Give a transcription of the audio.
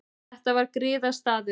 Þetta var griðastaður.